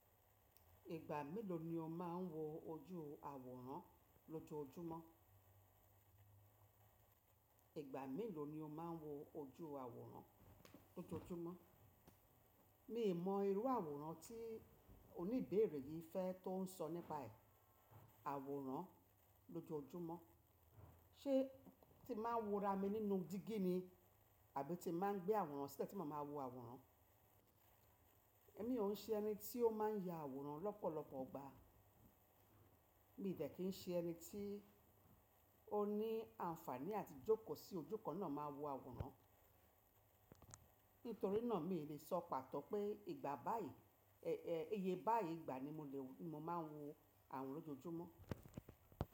Ìgbà mélòó ni o máa n wo ojú àwòrán lójoójúmọ́? Mélòó ni o máa n wo ojú àwòrán lójoójúmọ́? Mi mọ irú àwòrán tí oníbèèrè yí fẹ́ tó sọ nípa ẹ̀. Àwòrán lójoójúmọ́, ṣé ti máa ń wo ra mi nínú dígí ni? Àbí ti máa ń gbé àwòrán sílẹ̀ tí mo máa ń wo àwòrán? Èmi ò n ṣe ẹni tí ó máa ń ya àwòrán lọ́pọ̀lọpọ̀ ọgbà. Mi dẹ̀ kí ṣe ẹni tí ó ní àǹfààní àti jókòó sí ojú kan náà máa wo àwòrán. Nítorí náà mi lè sọ pàtọ̀ pé ìgbà báyí, ẹẹ, iye báyí ìgbà ni mo lè wò, mo máa ń wo àwòrán lójoójúmọ́.